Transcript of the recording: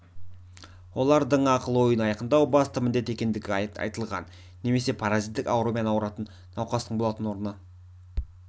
олардың ақыл-ойын айқындау басты міндет екендігі айтылған немесе паразиттік аурумен ауыратын науқастың болатын орны